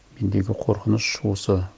мендегі қорқыныш осы